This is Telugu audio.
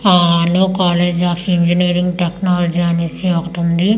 ఆ ఆలో కాలేజ్ ఆఫ్ ఇంగినీరింగ్ టెక్నాలజీ అనేసి ఒకటి ఉంది.